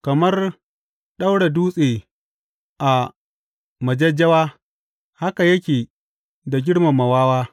Kamar ɗaura dutse a majajjawa haka yake da girmama wawa.